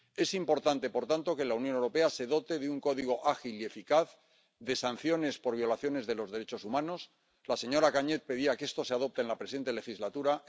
Es importante, por tanto, que la Unión Europea se dote de un código ágil y eficaz de sanciones por violaciones de los derechos humanos —la señora Kalniete pedía que esto se adopte en la presente legislatura—.